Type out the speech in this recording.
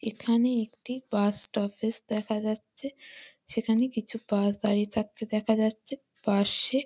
এখানে একটি bus stoppage দেখা যাচ্ছে। সেখানে কিছু বাস দাঁড়িয়ে থাকতে দেখা যাচ্ছে। পাশে--